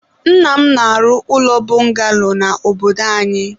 nna m na-arụ ụlọ bọngalo na obodo anyị.